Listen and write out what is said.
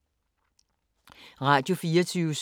Radio24syv